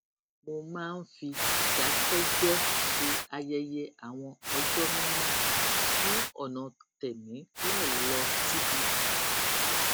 mo máa ń fi ìdákéjéé ṣe ayẹyẹ àwọn ọjó mímó ní ònà tèmi láì lọ síbi ìsìn